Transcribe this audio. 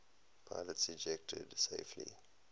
pilots ejected safely